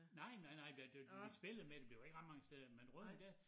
Nej nej nej hvad det var det de spillede med det det var ikke ret mange steder men Rødding der